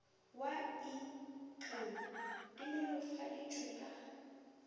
wa ik di nolofaditšwe ka